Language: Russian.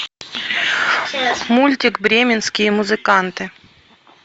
мультик бременские музыканты